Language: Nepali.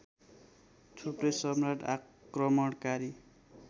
थुप्रै सम्राट आक्रमणकारी